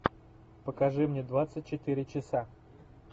покажи мне двадцать четыре часа